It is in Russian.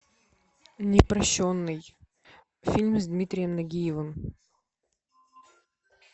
непрощенный фильм с дмитрием нагиевым